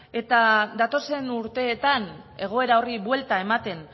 eta datozen urteetan egoera horri buelta ematen